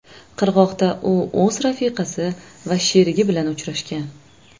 Qirg‘oqda u o‘z rafiqasi va sherigi bilan uchrashgan.